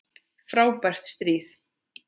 Frábært stríð!